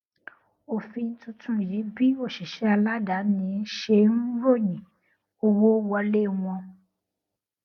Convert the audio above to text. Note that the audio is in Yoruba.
òfin tuntun yí bí òṣìṣẹ aládàáni ṣe ń royìn owó wọlé wọn